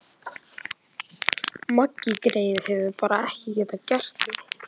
Maggi greyið hefur bara ekki getað gert neitt.